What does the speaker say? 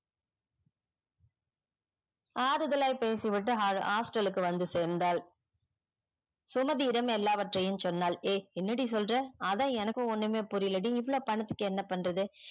ஆருதாலை பேசிவிட்டு hostel வந்து சேர்ந்தாள சுமதியிடம் எல்லாவற்றையும் சொன்னால் எர் என்னடி சொல்ற அதா எனக்கு ஒன்னுமே புரியல டி இவ்ளோ பணத்துக்கு என்ன பண்றது